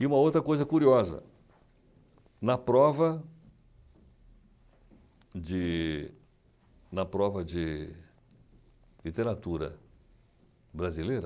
E uma outra coisa curiosa, na prova de... na prova de literatura brasileira,